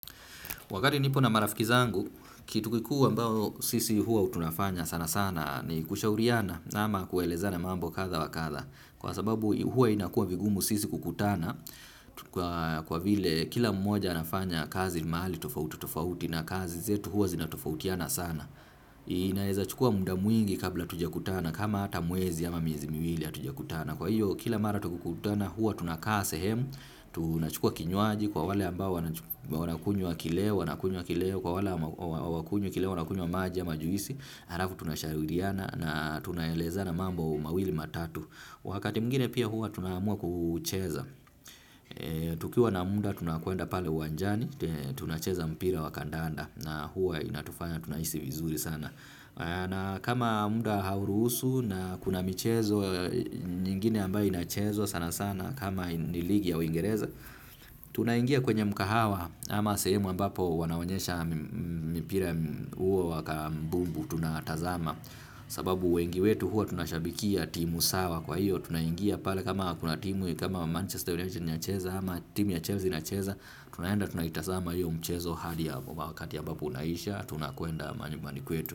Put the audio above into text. Wakati nipo na marafiki zangu, kitu kikuu ambao sisi hua tunafanya sana sana ni kushauriana ama kuelezana mambo kadha wa kadha. Kwa sababu hua inakua vigumu sisi kukutana kwa vile kila mmoja anafanya kazi mahali tofauti tofauti na kazi zetu hua zinatofautiana sana. Inaeza chukua muda mwingi kabla hatujakutana kama hata mwezi ama miezi miwili hatujakutana. Na kwa hiyo kila mara tukikutana huwa tunakaa sehemu, tunachukua kinywaji kwa wale ambao wanakunywa kileo, wanakunywa kileo, kwa wale hawakunywi kileo, wanakunywa maji ama juisi, halafu tunashauriana na tunaelezana mambo mawili matatu. Wakati mwingine pia huwa tunaamua kucheza. Tukiwa na muda tunakwenda pale uwanjani, tunacheza mpira wa kandanda na huwa inatufanya tunahisi vizuri sana. Na kama muda hauruhusu na kuna michezo nyingine ambaye inachezwa sana sana kama ni ligi ya uingereza. Tunaingia kwenye mkahawa ama sehemu ambapo wanaonyesha mpira huo wa kambumbu tunatazama. Sababu wengi wetu huwa tunashabikia timu sawa kwa hiyo tunaingia pale kama kuna timu kama Manchester United inacheza ama timu ya Chelsea inacheza. Tunaenda tunaitasama hiyo mchezo hadi wakati ambapo unaisha tunakwenda manyumbani kwetu.